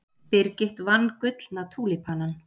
Birgit vann Gullna túlípanann